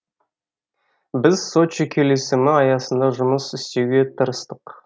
біз сочи келісімі аясында жұмыс істеуге тырыстық